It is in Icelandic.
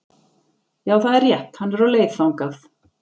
Já, það er rétt, hann er á leið þangað